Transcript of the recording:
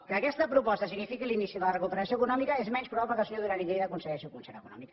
que aquesta proposta signifiqui l’inici de la recuperació econòmica és menys probable que el senyor duran i lleida aconsegueixi el concert econòmic